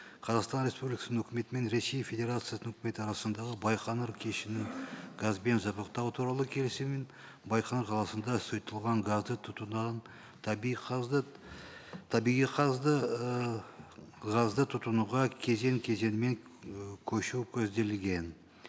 қазақстан республикасының үкіметі мен ресей федерациясы үкіметі арасындағы байқоңыр кешенін газбен жабдықтау туралы келісімін байқоңыр қаласында сұйытылған газды тұтынунын табиғи табиғи ыыы газды тұтынуға кезең кезеңімен і көшу көзделген